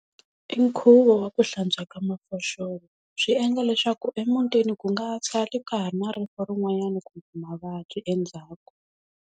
I nkhuvo wa ku hlantswa ka mafoxolo swi endla leswaku emutini ku nga sali ka ha ri na rifu rin'wannyana kumbe mavabyi endzhaku.